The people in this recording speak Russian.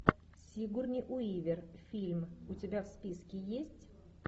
сигурни уивер фильм у тебя в списке есть